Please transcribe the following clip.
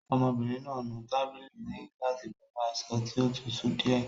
Ọmọbìnrin náà nu tábìlì òní gílásì pẹ̀lú aṣọ tí ó tutù díẹ̀.